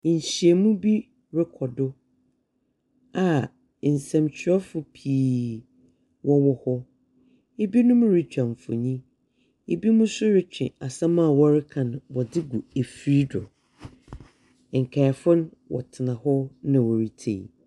Nhyiamu bi rekɔ do a nsɛmtwerɛfo pii wɔwɔ hɔ. Ebinom retwa mfonin. Ebinom nso retwe asɛm a wɔreka no, wɔdze regu efir do. Nkaefo no, wɔtsena hɔ na wɔretie.